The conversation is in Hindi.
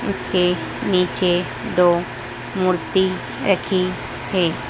उसके नीचे दो मूर्ति रखी है।